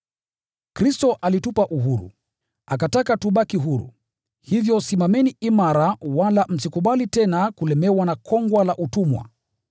Kristo alitupa uhuru, akataka tubaki huru. Hivyo simameni imara wala msikubali tena kulemewa na kongwa la utumwa.